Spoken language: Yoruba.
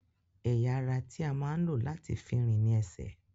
Ẹ̀ya ará tí a máa ń lò láti fi rìn ní ẹsẹ̀